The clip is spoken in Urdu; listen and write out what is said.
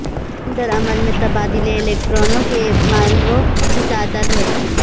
این ردعمل میں تبادلے والے الیکٹرانوں کے مالووں کی تعداد ہے